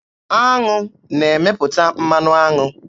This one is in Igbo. Aṅụ na-emepụta mmanụ aṅụ.